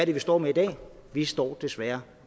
det vi står med i dag vi står desværre